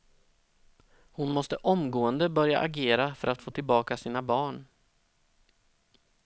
Hon måste omgående börja agera för att få tillbaka sina barn.